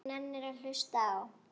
Hver nennir að hlusta á.